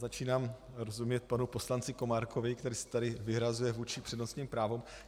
Začínám rozumět panu poslanci Komárkovi, který se tady vyhrazuje vůči přednostním právům.